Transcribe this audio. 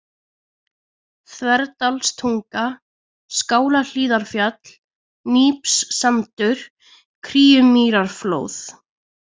Þverdalstunga, Skálahlíðarfjall, Nípssandur, Kríumýrarflóð